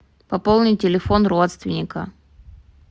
пополнить телефон родственника